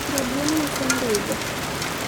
jaduong uso ndiga